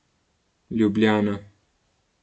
Ljubljana.